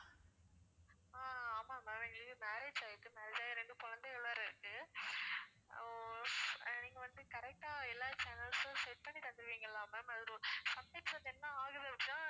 ஆஹ் ஆமாம் ma'am எங்களுக்கு ஆயிருக்கு marriage ஆயிடிச்சி ரெண்டு குழந்தைகள் வேற இருக்கு ஹம் நீங்க வந்து correct ஆ எல்லா channels உம் set பண்ணி தந்திருவிங்களா ma'am அதுல sometimes வந்து என்ன ஆகுது அப்பிடின்னா